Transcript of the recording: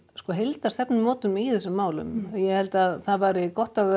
sko heildarstefnumótun í þessum málum og ég held að það væri gott ef